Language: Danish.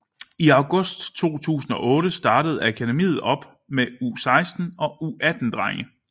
I august 2008 startede akademiet op med U16 og U18 drenge